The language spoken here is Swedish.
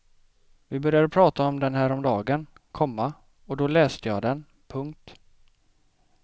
Vi började prata om den häromdagen, komma och då läste jag den. punkt